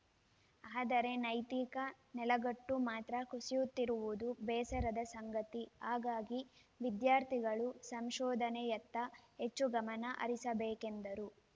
ಆದರೆ ನೈತಿಕ ನೆಲೆಗಟ್ಟು ಮಾತ್ರ ಕುಸಿಯುತ್ತಿರುವುದು ಬೇಸರದ ಸಂಗತಿ ಹಾಗಾಗಿ ವಿದ್ಯಾರ್ಥಿಗಳು ಸಂಶೋಧನೆಯತ್ತ ಹೆಚ್ಚು ಗಮನ ಹರಿಸಬೇಕು ಎಂದರು